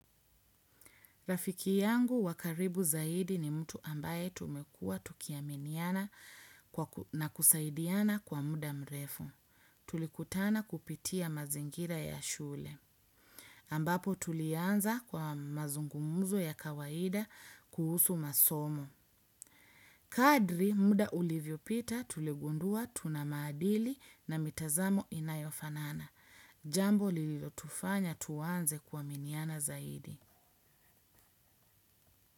Rafiki yangu wakaribu zaidi ni mtu ambaye tumekuwa tukiaminiana na kusaidiana kwa muda mrefu. Tulikutana kupitia mazingira ya shule. Ambapo tulianza kwa mazungumuzo ya kawaida kuhusu masomo. Kadri muda ulivyo pita tuligundua tuna maadili na mitazamo inayofanana. Jambo lilo tufanya tuanze kuaminiana zaidi.